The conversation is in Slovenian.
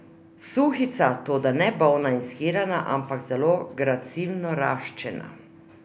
Suhica, toda ne bolna in shirana, ampak zelo gracilno raščena.